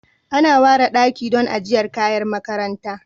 Ana ware daki don ajiyar kayan makaranta